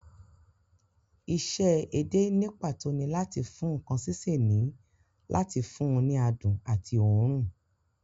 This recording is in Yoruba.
Isẹ́ edé ní pàtó ni láàti fún ǹkan sísè ní láti fún un ní adùn àti òórùn